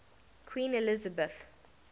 queen elizabeth